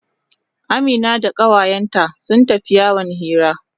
Amina da kawayenta sun tafi yawon hira.